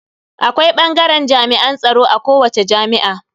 Akwai bangaren jami'an tsaro a kowace jami'a.